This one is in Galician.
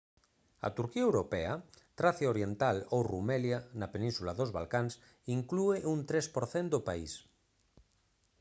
a turquía europea tracia oriental ou rumelia na península dos balcáns inclúe un 3 % do país